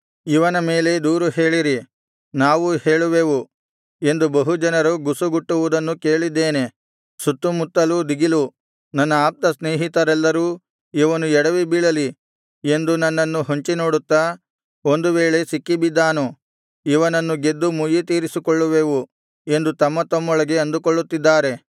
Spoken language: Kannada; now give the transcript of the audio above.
ಇವನ ಮೇಲೆ ದೂರು ಹೇಳಿರಿ ನಾವೂ ಹೇಳುವೆವು ಎಂದು ಬಹು ಜನರು ಗುಸುಗುಟ್ಟುವುದನ್ನು ಕೇಳಿದ್ದೇನೆ ಸುತ್ತುಮುತ್ತಲೂ ದಿಗಿಲು ನನ್ನ ಆಪ್ತ ಸ್ನೇಹಿತರೆಲ್ಲರೂ ಇವನು ಎಡವಿ ಬೀಳಲಿ ಎಂದು ನನ್ನನ್ನು ಹೊಂಚಿನೋಡುತ್ತಾ ಒಂದು ವೇಳೆ ಸಿಕ್ಕಿಬಿದ್ದಾನು ಇವನನ್ನು ಗೆದ್ದು ಮುಯ್ಯಿತೀರಿಸಿಕೊಳ್ಳುವೆವು ಎಂದು ತಮ್ಮತಮ್ಮೊಳಗೆ ಅಂದುಕೊಳ್ಳುತ್ತಿದ್ದಾರೆ